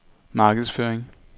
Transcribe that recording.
markedsføring